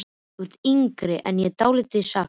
Þú ert yngri en ég og dálítið saklaus.